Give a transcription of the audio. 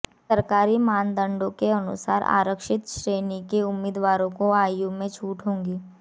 सरकारी मानदंडों के अनुसार आरक्षित श्रेणी के उम्मीदवारों को आयु में छूट होगी